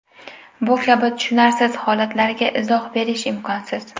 Bu kabi tushunarsiz holatlarga izoh berish imkonsiz.